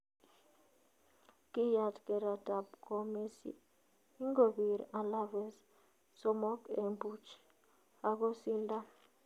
kiiyat keret ap ko Messi ingopir Alaves somok en puch agosindan